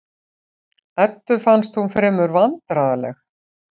Eddu fannst hún fremur vandræðaleg.